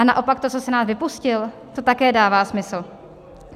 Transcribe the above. A naopak to, co Senát vypustil, to také dává smysl.